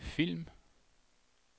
film